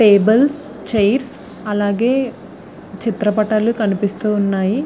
Tables chairs చిత్ర పాటలు కనిపిస్తూ ఉన్నాయి ఉన్నాయ్.